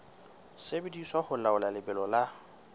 sebediswa ho laola lebelo la